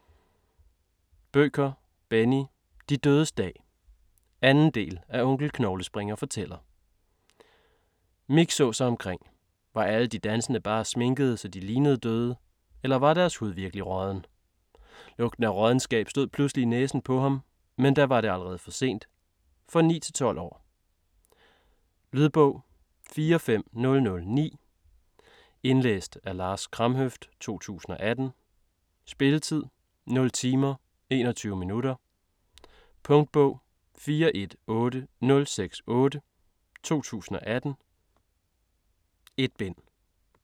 Bødker, Benni: De dødes dag 2. del af Onkel Knoglespringer fortæller. Mick så sig omkring. Var alle de dansende bare sminkede, så de lignede døde? Eller var deres hud virkelig rådden? Lugten af råddenskab stod pludselig i næsen på ham. Men da var det allerede for sent. For 9-12 år. Lydbog 45009 Indlæst af Lars Kramhøft, 2018. Spilletid: 0 timer, 21 minutter. Punktbog 418068 2018. 1 bind.